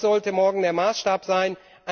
Das sollte morgen der Maßstab sein.